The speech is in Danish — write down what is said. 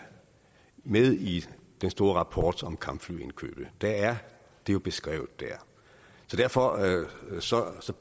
med i den store rapport om kampflyindkøbet det er jo beskrevet der derfor